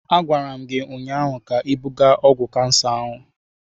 Agwara m gi ụnyaahụ ka ibuga ọgwụ kansa ahụ!